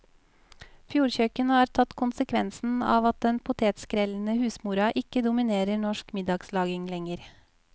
Fjordkjøkken har tatt konsekvensen av at den potetskrellende husmora ikke dominerer norsk middagslaging lenger.